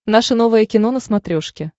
наше новое кино на смотрешке